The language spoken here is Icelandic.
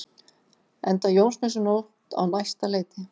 Enda Jónsmessunótt á næsta leiti.